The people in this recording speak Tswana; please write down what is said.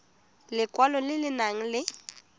lekwalo le le nang le